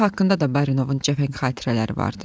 Kiyev haqqında da Barinovun cəfəng xatirələri vardı.